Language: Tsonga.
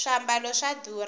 swiambalo swa durha